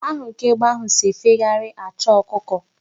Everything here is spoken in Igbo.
Ahụrụ ka egbe ahụ si efegharị achọ ọkụkọ.